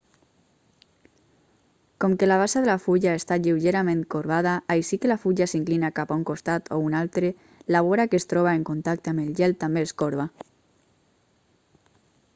com que la base de la fulla està lleugerament corbada així que la fulla s'inclina cap a un costat o un altre la vora que es troba en contacte amb el gel també es corba